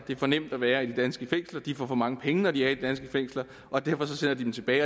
for nemt at være i de danske fængsler de får for mange penge når de er i de danske fængsler og derfor sender de dem tilbage